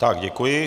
Tak děkuji.